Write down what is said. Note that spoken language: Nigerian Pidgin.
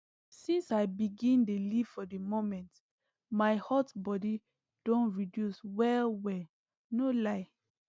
since i begin dey live for the moment my hot body don reduce wellwell no lie